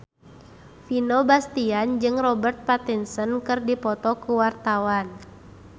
Vino Bastian jeung Robert Pattinson keur dipoto ku wartawan